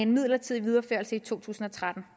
midlertidigt videreført i to tusind og tretten